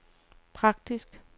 praktisk